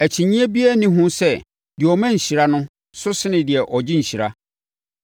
Akyinnyeɛ biara nni ho sɛ deɛ ɔma nhyira so sene deɛ ɔgye nhyira.